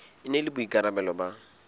e na le boikarabelo ba